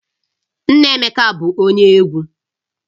Nna Emeka bụ onye egwu